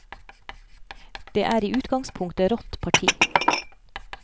Det er i utgangspunktet rått parti.